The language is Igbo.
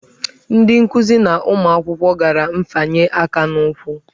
Ndị nkuzi na ụmụ akwụkwọ gara nfanye aka n'ụkwụ.